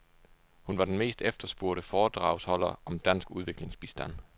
Hun var den mest efterspurgte foredragsholder om dansk udviklingsbistand.